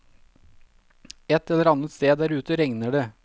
Et eller annet sted der ute regner det.